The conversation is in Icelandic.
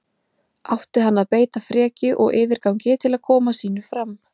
Átti hann að beita frekju og yfirgangi til að koma sínu fram?